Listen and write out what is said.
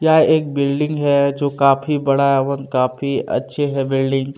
यह एक बिल्डिंग है जो काफी बड़ा एवम काफी अच्छी है बिल्डिंग --